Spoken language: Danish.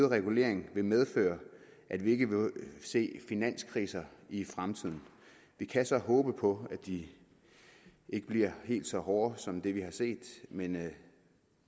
regulering vil medføre at vi ikke vil se finanskriser i fremtiden vi kan så håbe på at de ikke bliver helt så hårde som det vi har set men